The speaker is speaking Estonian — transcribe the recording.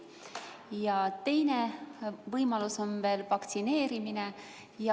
Ja teine võimalus on vaktsineerimine.